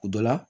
O dɔ la